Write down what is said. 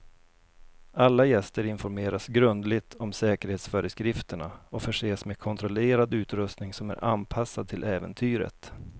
Alla gäster informeras grundligt om säkerhetsföreskrifterna och förses med kontrollerad utrustning som är anpassad till äventyret.